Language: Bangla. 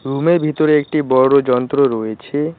রুমের ভিতরে একটি বড় যন্ত্র রয়েছে।